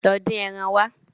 Lọ dín ẹran wa.